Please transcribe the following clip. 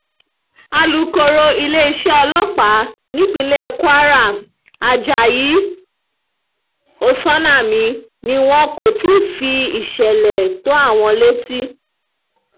alūkọ̀rọ̀ iléeṣẹ́ ọlọ́pàá nípínlẹ̀ kwara ajayi oksanami ni wọn kò tí ì fi ìsẹ̀lẹ̀ tó àwọn létí